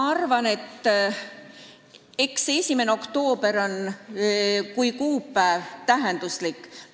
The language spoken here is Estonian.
Ma arvan, et 1. oktoober on kuupäevana siiski tähenduslik.